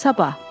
Sabah.